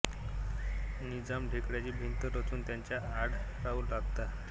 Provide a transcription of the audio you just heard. निजाम ढेकळाची भिंत रचून त्याच्या आड राहू लागला